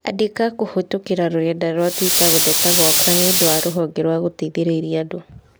Andĩka kũhĩtũkĩra rũrenda rũa tũita gũteta gwakwa nĩũndĩ wa rũhonge rwa gũteithĩrĩria andũ